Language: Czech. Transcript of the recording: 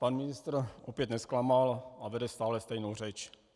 Pan ministr opět nezklamal a vede stále stejnou řeč.